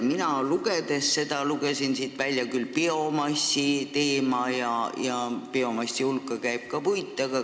Mina lugesin siit välja ka biomassi teema ja biomassi hulka käib ka puit.